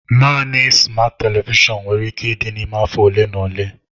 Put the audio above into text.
Naanị smat televishọn nwere ike ịdị n'ime afọ ole na ole.